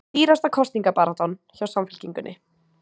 Dýrasta kosningabaráttan hjá Samfylkingunni